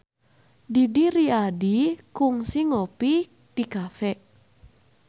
Didi Riyadi kungsi ngopi di cafe